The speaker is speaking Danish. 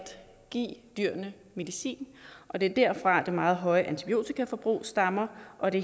give dyrene medicin og det er derfra det meget høje antibiotikaforbrug stammer og det